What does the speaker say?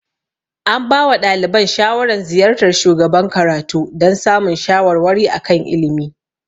An ba wa ɗaliban shawaran ziyartar shugaban karatu dan samun shawarwari a kan ilimi